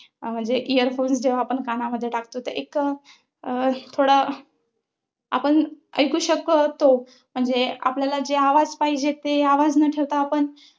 म्हणजे earphones जेव्हा आपण कानामध्ये टाकतो ते एक अं थोडा आपण ऐकू शकतो. म्हणजे आपल्याला जे आवाज पाहिजेत ते आवाज न ठेवता आपण